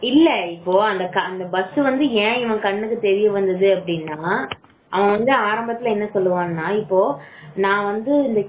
இல்ல அந்த bus வந்து ஏன் இவன் கண்ணுக்கு தெரியுதுன்னா அவன் வந்து ஆரம்பத்துல என்ன சொல்லுவாங்க இப்போ இந்த